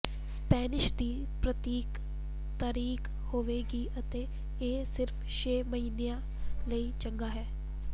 Spanish ਦੀ ਪ੍ਰਤੀਕ ਤਾਰੀਖ ਹੋਵੇਗੀ ਅਤੇ ਇਹ ਸਿਰਫ ਛੇ ਮਹੀਨਿਆਂ ਲਈ ਚੰਗਾ ਹੈ